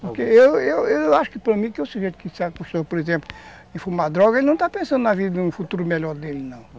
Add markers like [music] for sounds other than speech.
Porque eu eu eu acho que para mim, que é o seguinte, [unintelligible] ,por exemplo, de fumar droga, ele não está pensando na vida, no futuro melhor dele, não.